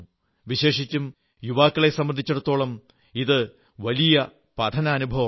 വിശേഷിച്ചും യുവാക്കളെ സംബന്ധിച്ചിടത്തോളം ഇത് വലിയ ഒരു പഠനാനുഭവമാണ്